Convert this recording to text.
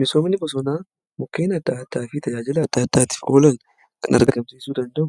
Misoomni bosonaa mukkeen aada addaa fi tajaajila adda addaatiif oolan kan argamsiisuu danda'u